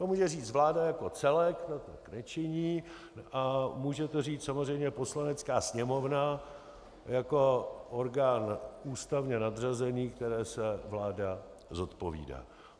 To může říct vláda jako celek, ta tak nečiní, a může to říct samozřejmě Poslanecká sněmovna jako orgán ústavně nadřazený, kterému se vláda zodpovídá.